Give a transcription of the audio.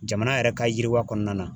Jamana yɛrɛ ka yiriwa kɔnɔna na.